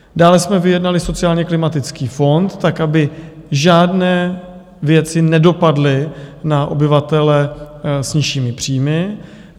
Dále jsme vyjednali sociálně klimatický fond tak, aby žádné věci nedopadly na obyvatele s nižšími příjmy.